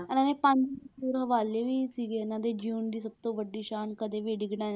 ਇਹਨਾਂ ਨੇ ਪੰਜ ਹਵਾਲੇ ਵੀ ਸੀਗੇੇ ਇਹਨਾਂ ਦੇ ਜਿਊਣ ਦੀ ਸਭ ਤੋਂ ਵੱਡੀ ਸ਼ਾਨ ਕਦੇ ਵੀ ਡਿੱਗਣਾ,